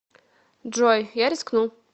джой я рискну